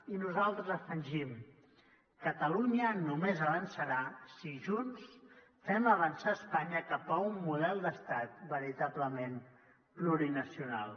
i nosaltres afegim catalunya només avançarà si junts fem avançar espanya cap a un model d’estat veritablement plurinacional